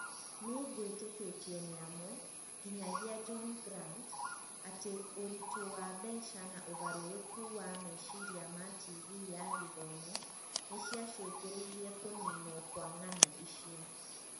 Nĩgwĩtĩkĩtio nĩamwe , nginyagia John Grant, atĩ ũritũ wa mbeca na ũgarũrũku wa meciria ma tivi ya gĩthomo nĩcia cũngĩrĩirie kũninwo kwa ng'ano icio.